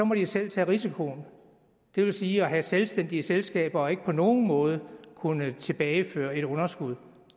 må de selv tage risikoen det vil sige at have selvstændige selskaber og ikke på nogen måde kunne tilbageføre et underskud